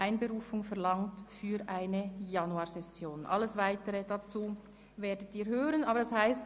Allerdings fällt das Büro diesen Entscheid.